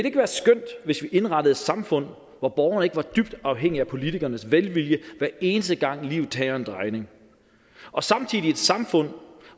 ikke være skønt hvis vi indrettede et samfund hvor borgerne ikke var dybt afhængige af politikernes velvilje hver eneste gang livet tager en drejning og samtidig et samfund